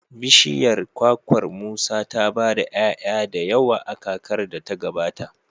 bishiyar kwakwar Musa ta ba da 'ya'ya da yawa a kakar da ta gabata.